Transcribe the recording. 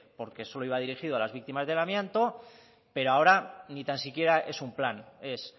porque solo iba dirigido a las víctimas del amianto pero ahora ni tan siquiera es un plan es